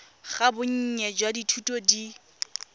ga bonnye jwa dithuto di